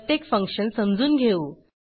प्रत्येक फंक्शन समजून घेऊ